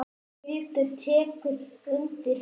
Hildur tekur undir það.